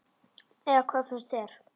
Eða hvað finnst þér?